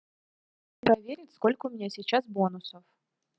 проверить сколько у меня сейчас бонусов